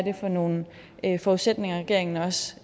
er for nogle forudsætninger regeringen også